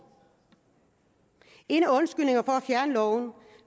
en af undskyldningerne for at fjerne loven